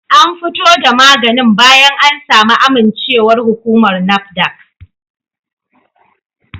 An fito da maganin bayan an samu amincewar hukumar NAFDAC